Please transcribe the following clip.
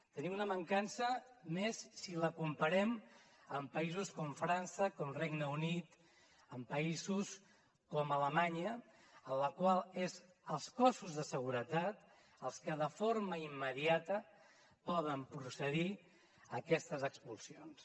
tenim una mancança més si la comparem amb països com frança com el regne unit amb països com alemanya en la qual són els cossos de seguretat els que de forma immediata poden procedir a aquestes expulsions